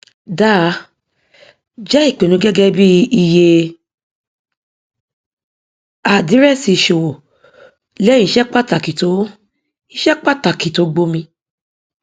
dáa jẹ ìpinnu gẹgẹ bí iye àdírẹsì ìṣòwò lẹyìn iṣẹ pàtàkì tó iṣẹ pàtàkì tó gbomi